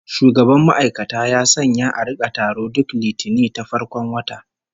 Shugaban ma'aikata ya sanya a rika taro duk Litinin ta farkon wata